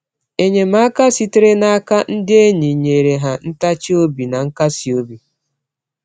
Enyemaka sitere n’aka ndị enyi nyeere ha ntachi obi na nkasi obi.